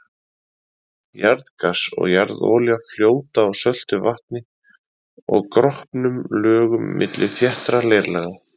Jarðgas og jarðolía fljóta á söltu vatni og gropnum lögum milli þéttra leirlaga.